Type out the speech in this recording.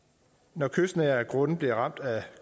når kystnære grunde bliver ramt af